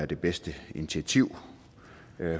det bedste initiativ